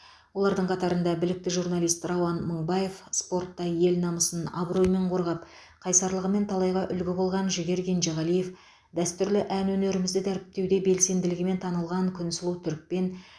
олардың қатарында білікті журналист рауан мынбаев спортта ел намысын абыроймен қорғап қайсарлығымен талайға үлгі болған жігер кенжеғалиев дәстүрлі ән өнерімізді дәріптеуде белсенділігімен танылған күнсұлу түрікпен